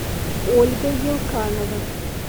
ольга елканова